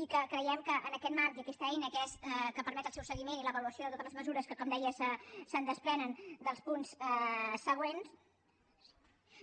i que creiem que en aquest marc i aquesta eina que permet el seu seguiment i l’avaluació de totes les mesures que com deia se’n desprenen dels punts següents